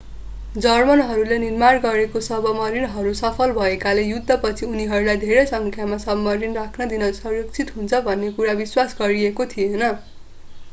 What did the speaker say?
जर्मनहरूले निर्माण गरेका सबमरिनहरू सफल भएकाले युद्धपछि उनीहरूलाई धेरै सङ्ख्यामा सबमरिन राख्न दिनु सुरक्षित हुन्छ भन्ने कुरा विश्वास गरिएको थिएन